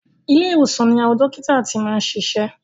Ilé ìwòsan ni àwọn dókítà ti máa ń ṣiṣẹ́.